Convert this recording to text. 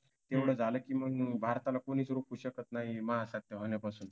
एवढं झालं की मग भारताला कोणीच रोखू शकत नाही महासत्ताक होण्यापासून